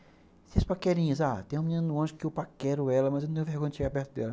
paquerinhas, tem uma menina no ônibus que eu paquero ela, mas eu não tenho vergonha de chegar perto dela.